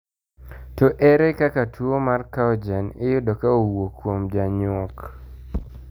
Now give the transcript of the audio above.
To ere kaka tuo mar Cowgen iyudo ka owuok kuom janyuok?